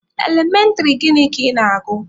Elementịrị gịnị ka ị na-agụ?